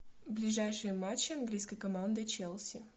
ближайшие матчи английской команды челси